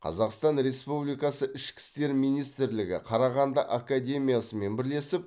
қазақстан республикасы ішкі істер министрлігі қарағанды академиясымен бірлесіп